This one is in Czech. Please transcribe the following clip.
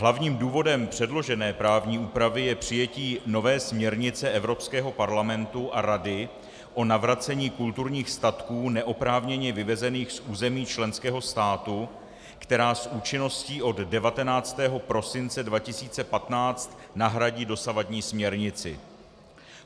Hlavním důvodem předložené právní úpravy je přijetí nové směrnice Evropského parlamentu a Rady o navracení kulturních statků neoprávněně vyvezených z území členského státu, která s účinností od 19. prosince 2015 nahradí dosavadní směrnici.